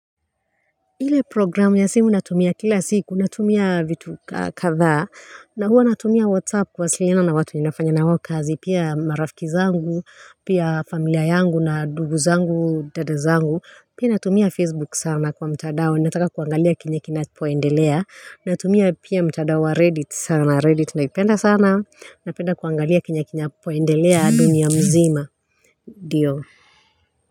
Ile programu ya simu natumia kila siku natumia vitu kadhaa na huwa natumia whatsapp kuwasiliana na watu ninafanya na wao kazi pia marafiki zangu pia familia yangu na ndugu zangu dada zangu pia natumia facebook sana kwa mtandao nataka kuangalia kenye kinapoendelea natumia pia mtandao wa reddit sana reddit naipenda sana napenda kuangalia kinapoendelea dunia nzima ndio.